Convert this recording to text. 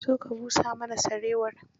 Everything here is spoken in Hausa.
Zo ka busa mana sarewar.